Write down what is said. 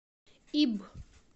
ибб